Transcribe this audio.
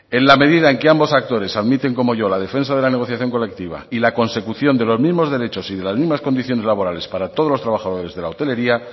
en la medida en que ambos actores admiten como yo la defensa de la negociación colectiva y la consecución de los mismos derechos y de las mismas condiciones laborales para todos los trabajadores de la hotelería